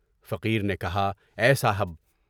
فقیر نے کہا: اے صاحب!